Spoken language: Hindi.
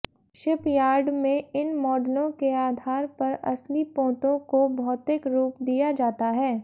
शिपयार्ड में इन मॉडलों के आधार पर असली पोतों को भौतिक रूप दिया जाता है